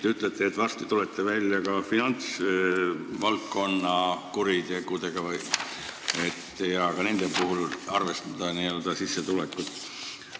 Te ütlete, et tulete varsti välja ka põhimõttega, et finantsvaldkonna kuritegude puhul tuleks arvestada sissetulekut.